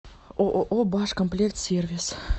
ооо башкомплектсервис